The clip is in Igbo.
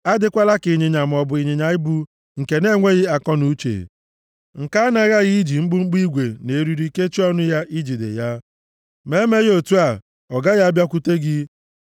Adịkwala ka ịnyịnya maọbụ ịnyịnya ibu nke na-enweghị akọnuche, nke a na-aghaghị iji mkpụmkpụ igwe na eriri kechie ọnụ ya, ijide ya, ma emeghị otu a, ọ gaghị abịakwute gị.